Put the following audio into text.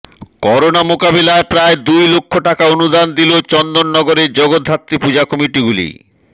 corona মোকাবিলায় প্রায় দুই লক্ষ টাকা অনুদান দিল চন্দননগরের জগদ্ধাত্রী পূজা কমিটিগুলি